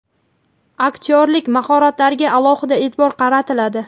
aktyorlik mahoratlariga alohida e’tibor qaratiladi.